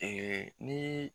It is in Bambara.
Ee ni